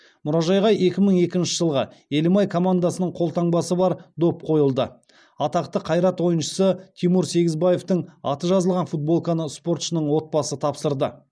мұражайға екі мың екінші жылғы елімай командасының қолтаңбасы бар доп қойылды атақты қайрат ойыншысы тимур сегізбаевтың аты жазылған футболканы спортшының отбасы тапсырды